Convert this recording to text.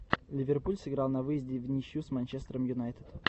ливерпуль сыграл на выезде вничью с манчестером юнайтед